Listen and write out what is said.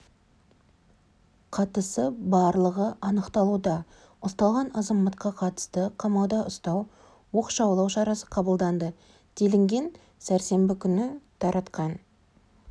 қатысы барлығы анықталуда ұсталған азаматқа қатысты қамауда ұстау оқшаулау шарасы қабылданды делінген сәрсенбі күні таратақан